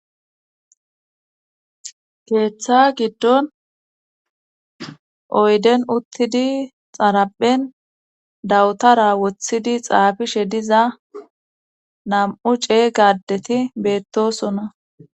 keeththa giddon oyden uttidi xaraphen dawutara woththidi xaafishe diza nam'' cey gaaddeti beettosona